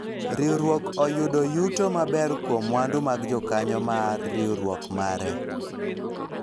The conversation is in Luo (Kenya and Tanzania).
riwruok oyudo yuto maber kuom mwandu mag jokanyo mar riwruok mare